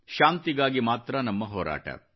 ಶಾಂತಿಗಾಗಿ ಮಾತ್ರ ನಮ್ಮ ಹೋರಾಟ